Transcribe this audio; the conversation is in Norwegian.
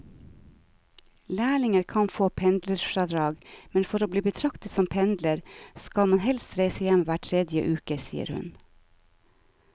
Lærlinger kan få pendlerfradrag, men for å bli betraktet som pendler skal man helst reise hjem hver tredje uke, sier hun.